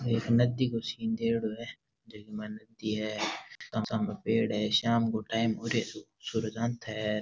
नदी का सीन देयेडो है जेमें नदी है सामने पेड़ है शाम को टाइम हो रेसो सूरज अंत है।